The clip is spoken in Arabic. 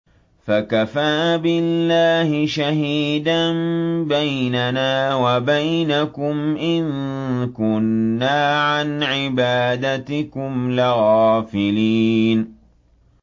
فَكَفَىٰ بِاللَّهِ شَهِيدًا بَيْنَنَا وَبَيْنَكُمْ إِن كُنَّا عَنْ عِبَادَتِكُمْ لَغَافِلِينَ